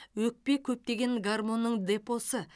өкпе көптеген гармонның депосы